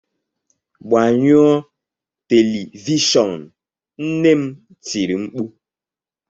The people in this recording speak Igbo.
Gbanyụọ telivishọn! Nne m tiri mkpu.